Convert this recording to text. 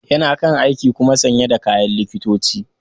Yana kan aiki kuma sanye da kayan likitoci.